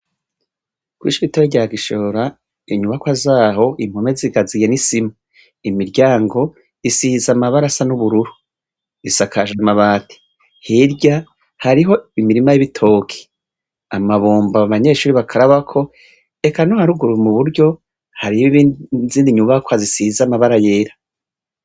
Kwishure rito rya gishora inyubakwa zaho impome zikaziye nisima imiryango isize amabara asa n’ubururu isakwajwe amabati hirya hariho imirima y’ibitoke amabomba abanyeshure bakarabirako eka no haruguru mu buryo hariho izindi nyubakwa zisize amabara yera.